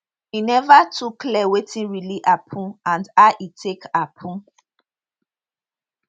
e never too clear wetin really happun and how e take happun